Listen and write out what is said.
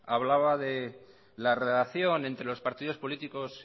hablaba de la relación entre los partidos políticos